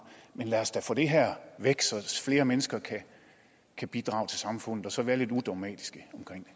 men lad os da få det her væk så flere mennesker kan bidrage til samfundet og så være lidt udogmatiske